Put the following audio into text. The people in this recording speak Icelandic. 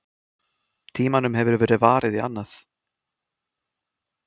Tímanum hefur verið varið í annað.